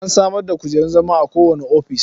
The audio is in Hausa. An samar da kujerun zama a kowane ofis.